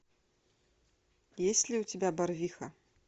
есть ли у тебя барвиха